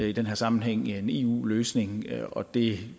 i den her sammenhæng via en eu løsning det